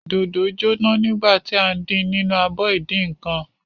Dòdò jóná nígbà tí à ń din nínú abọ ìdínǹkan.